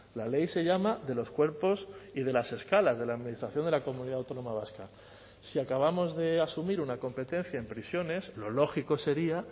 la ley se llama de los cuerpos y de las escalas de la administración de la comunidad autónoma vasca si acabamos de asumir una competencia en prisiones lo lógico sería